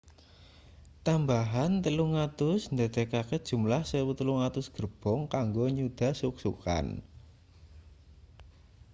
tambahan 300 ndadekake jumlah 1,300 gerbong kanggo nyuda suk-sukan